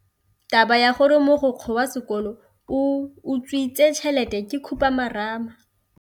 Taba ya gore mogokgo wa sekolo o utswitse tšhelete ke khupamarama.